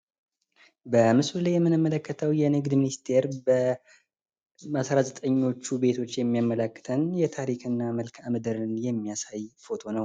በምስሉ ላይ የምንመለከተው የንግድ ሚኒስትር በአስራዘጠኞቹ ቤቶች የሚያመለክተን የታሪክ እና መልካም ምድርን የሚያሳይ ፎቶ ነው።